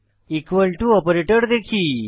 equal to operator দেখি